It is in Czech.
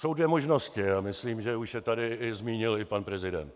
Jsou dvě možnosti a myslím, že už je tady zmínil i pan prezident.